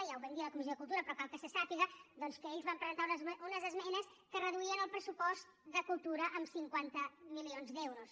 i ja ho vam dir a la comissió de cultura però cal que se sàpiga que ells van presentar unes esmenes que reduïen el pressupost de cultura en cinquanta milions d’euros